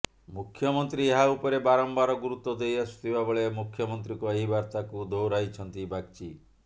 ମୁଖ୍ୟମନ୍ତ୍ରୀ ଏହା ଉପରେ ବାରମ୍ୱାର ଗୁରୁତ୍ୱ ଦେଇଆସୁଥିବା ବେଳେ ମୁଖ୍ୟମନ୍ତ୍ରୀଙ୍କ ଏହି ବାର୍ତ୍ତାକୁ ଦୋହରାଇଛନ୍ତି ବାଗଚୀ